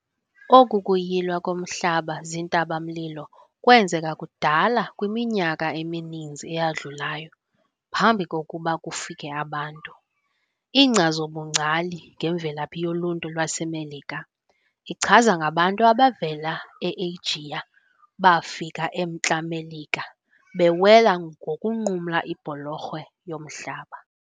Oku kuyilwa komhlaba zintabamlilo kwenzeka kudala kwiminyaka emininzi eyadlulayo phambi kokuba kufike abantu. Inkcazo-bungcali ngemvelaphi yoluntu lwaseMelika ichaza ngabantu abavela e-Eyijiya bafika eMntla-Melika bewela ngokunqumla ibholorho yomhlaba.